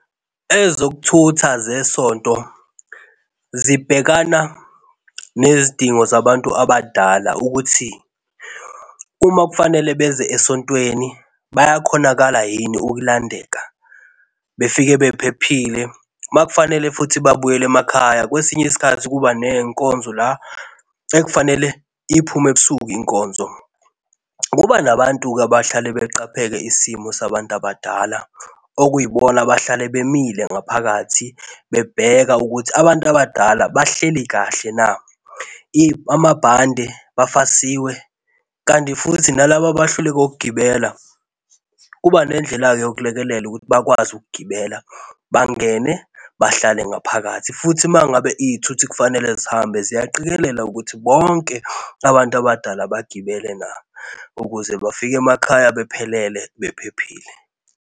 Ezokuthutha zesonto zibhekana nezidingo zabantu abadala ukuthi uma kufanele beze esontweni bayakhonakala yini ukulandeka, befike bephephile. Uma kufanele futhi babuyele emakhaya kwesinye isikhathi kuba nezinkonzo la ekufanele iphume ebusuku inkonzo, kuba nabantu-ke abahlale beqaphele isimo sabantu abadala okuyibona abahlale bemile ngaphakathi bebheka ukuthi abantu abadala bahleli kahle na. Amabhande bafasiwe kanti futhi nalaba bahluleka uugibela kuba nendlela-ke yokulekelela ukuthi bakwazi ukugibela, bangene, bahlale ngaphakathi. Futhi uma ngabe izithuthi kufanele zihambe, ziyaqikelela ukuthi bonke abantu abadala bagibele na, ukuze bafike emakhaya bephelele bephephile.